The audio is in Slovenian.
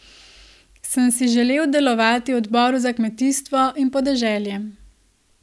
Sam si želi delovati v odboru za kmetijstvo in podeželje.